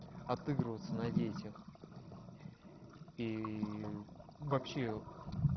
отыгрываться на детях и вообще